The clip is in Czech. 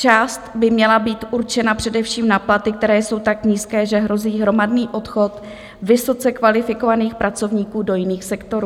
Část by měla být určena především na platy, které jsou tak nízké, že hrozí hromadný odchod vysoce kvalifikovaných pracovníků do jiných sektorů.